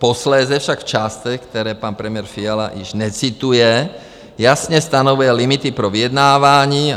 Posléze však v částech, které pan premiér Fiala již necituje, jasně stanovuje limity pro vyjednávání.